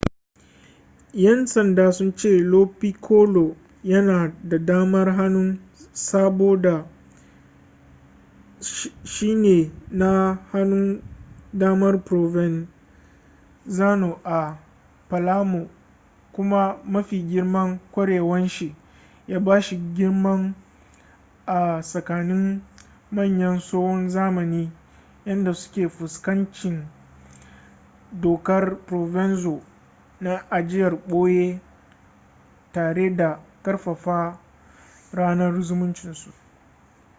yan sanda sun ce lo piccolo yana da damar hanun saboda shine na hanun damar provenzano a palermo kuma mafi girman kwarewanshi ya ba shi girman a tsakanin manyan tsohon zamani yadda suka fuskanci dokar provenzo na ajiyar boye tare da karfafa yanar zumuncin su